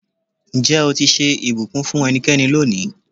Ǹjẹ́ o ti ṣe ìbùkún fún ẹnikẹ́ni lónìí?